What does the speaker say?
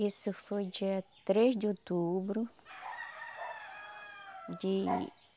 Isso foi dia três de outubro... de...